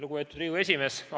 Lugupeetud Riigikogu esimees!